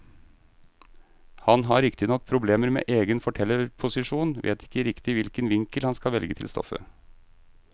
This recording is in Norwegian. Han har riktignok problemer med egen fortellerposisjon, vet ikke riktig hvilken vinkel han skal velge til stoffet.